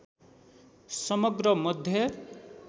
समग्र मध्य